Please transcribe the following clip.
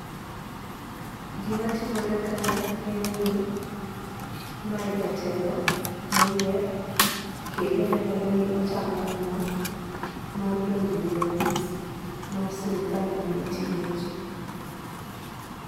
Gima timore kae en ni mae jatelo moyier kendo nenore ni ochamo muma mar donjo ei apis mar sirikal mondo oti ne ji.